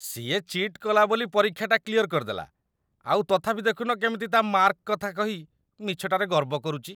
ସିଏ ଚି'ଟ୍ କଲା ବୋଲି ପରୀକ୍ଷାଟା କ୍ଲିୟର କରିଦେଲା, ଆଉ ତଥାପି ଦେଖୁନ କେମିତି ତା' ମାର୍କ କଥା କହି ମିଛଟାରେ ଗର୍ବ କରୁଚି ।